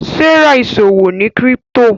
Serah ìṣòwò ní crypto.